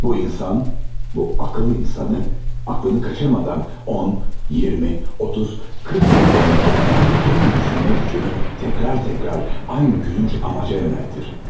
Bu insan, bu akıllı insanı, aklını kaçırmadan 10, 20, 30, 40 yıl boyunca bütün düşünmə gücünü tekrar tekrar aynı gülünç amaca yöneltir.